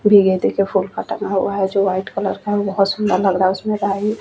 भीगे देखे फूल टांगा हुआ है जो व्हाईट कलर का है वो बहुत सुंदर है उसमे कहीं --